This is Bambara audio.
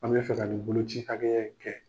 An bɛ fɛ ka ni boloci hakɛya in kɛ.